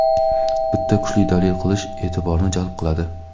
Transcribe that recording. bitta kuchli dalil qilish e’tiborni jalb qiladi.